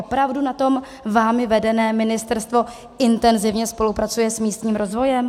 Opravdu na tom vámi vedeném ministerstvu intenzivně spolupracujete s místním rozvojem?